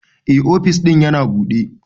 Eh, ofis din yana buɗe.